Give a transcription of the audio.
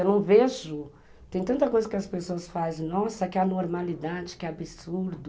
Eu não vejo, tem tanta coisa que as pessoas fazem, nossa, que anormalidade, que absurdo.